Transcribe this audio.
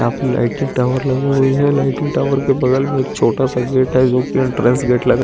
यहां पे lighting tower लगी हुई है लाइटिंग टावर के बगल में छोटा सा गेट है जो की एंट्रेस गेट लग रहा है।